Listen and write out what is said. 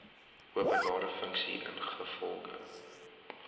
openbare funksie ingevolge